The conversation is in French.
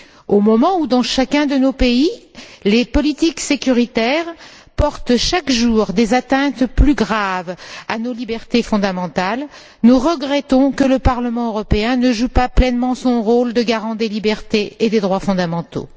Au moment où, dans chacun de nos pays, les politiques sécuritaires portent chaque jour des atteintes plus graves à nos libertés fondamentales, nous regrettons que le Parlement européen ne joue pas pleinement son rôle de garant des libertés et des droits fondamentaux.